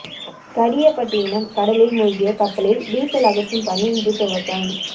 கடியப்பட்டினம் கடலில் மூழ்கிய கப்பலில் டீசல் அகற்றும் பணி இன்று துவக்கம்